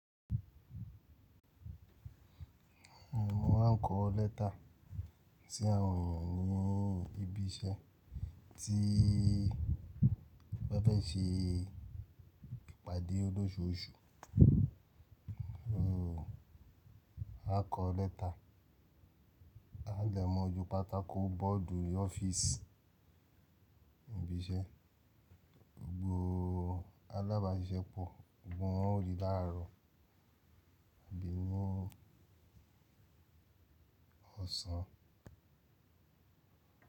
Wọ́n á kọ lẹ́tà sí àwọn ènìyàn ní ibi iṣẹ́ tí wọ́n fẹ́ ṣe pàdé lóṣùọṣù. Wọ́n á kọ lẹ́tà, á dẹ̀mọ ju pátákó bọ́ọ̀dù ní ọ́fíìsì ibi iṣẹ́, gbogbo alábàáṣiṣẹ́pọ̀, gbogbo wọn óri láàárọ̀ àbí ní ọ̀sán.